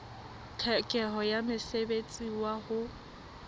tlhokeho ya mosebetsi wa ho